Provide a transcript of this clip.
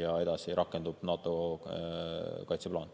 ja edasi rakendub NATO kaitseplaan.